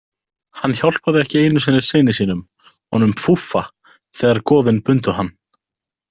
Hann hjálpaði ekki einu sinni syni sínum, honum Fúffa, þegar goðin bundu hann.